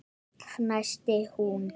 fnæsti hún.